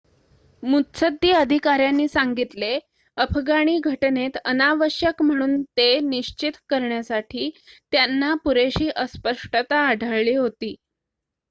मुत्सद्दी अधिकाऱ्यांनी सांगितले अफगाणी घटनेत अनावश्यक म्हणून ते निश्चित करण्यासाठी त्यांना पुरेशी अस्पष्टता आढळली होती